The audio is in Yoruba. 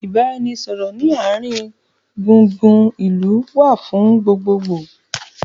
ìbáraẹnisọọ̀rọ̀ ni àárín gbùngbùn ìlú wá fún gbogbogboo